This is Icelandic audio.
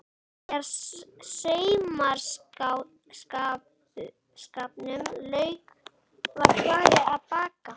Þegar saumaskapnum lauk var farið að baka.